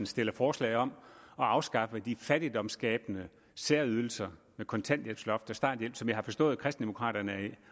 stillet forslag om at afskaffe de fattigdomsskabende særydelser med kontanthjælpsloft og starthjælp som jeg har forstået at kristendemokraterne